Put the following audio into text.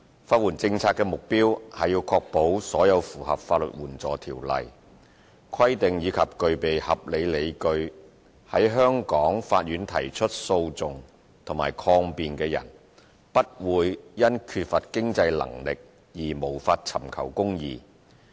法援政策的目標是確保所有符合《法律援助條例》規定及具備合理理據在香港法院提出訴訟或抗辯的人，不會因缺乏經濟能力而無法尋求公義。